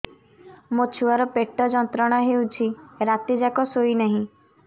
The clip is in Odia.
ମୋ ଛୁଆର ପେଟ ଯନ୍ତ୍ରଣା ହେଉଛି ରାତି ଯାକ ଶୋଇନାହିଁ